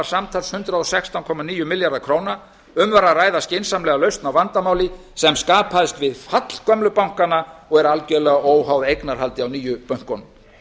samtals hundrað og sextán komma níu milljarðar króna um var að ræða skynsamlega lausn á vandamáli sem skapaðist við fall gömlu bankanna og er algerlega óháð eignarhaldi á nýju bönkunum